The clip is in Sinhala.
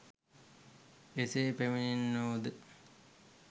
එසේ පැමිණෙන්නෝද